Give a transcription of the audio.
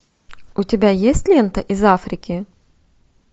у тебя есть лента из африки